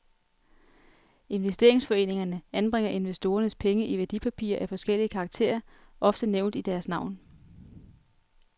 Investeringsforeningerne anbringer investorernes penge i værdipapirer af forskellig karakter, ofte nævnt i deres navn.